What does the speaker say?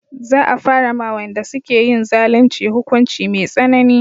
Za a fara ma wayanda suke yin zalunci hukunci mai tsanani